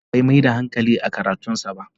Ibrahim Bai Mai da hankali a karatun sa ba.